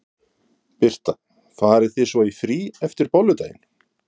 Birta: Farið þið svo í frí eftir Bolludaginn?